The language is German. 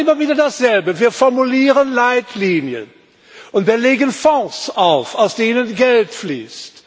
Wir machen immer wieder dasselbe Wir formulieren Leitlinien und legen Fonds auf, aus denen Geld fließt.